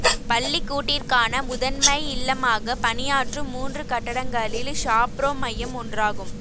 பள்ளிக்கூட்டிற்கான முதன்மை இல்லமாக பணியாற்றும் மூன்று கட்டடங்களில் ஷாப்ரோ மையம் ஒன்றாகும்